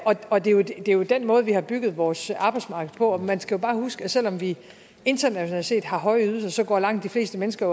og det er jo den måde vi har bygget vores arbejdsmarked på man skal jo bare huske at selv om vi internationalt set har høje ydelser går langt de fleste mennesker